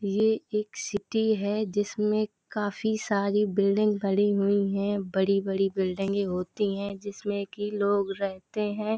ये एक सिटी है जिसमें काफी सारी बिल्डिंग भरी हुई हैं। बड़ी-बड़ी बिल्डिंगे होती हैं जिसमें की लोग रहते हैं ।